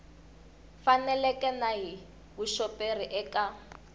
faneleke na hi vuxoperi eka